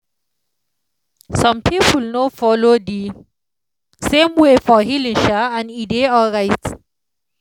some people no follow the same way for healing um and e dey alright.